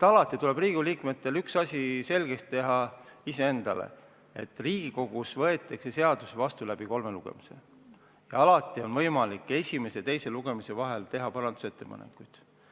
Riigikogu liikmetel tuleks üks asi endale selgeks teha: Riigikogus võetakse seadusi vastu kolme lugemisega ja alati on võimalik esimese ja teise lugemise vahel teha parandusettepanekuid.